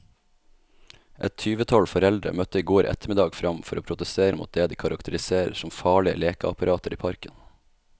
Et tyvetall foreldre møtte i går ettermiddag frem for å protestere mot det de karakteriserer som farlige lekeapparater i parken.